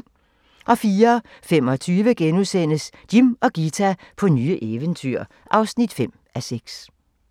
04:25: Jim og Ghita på nye eventyr (5:6)*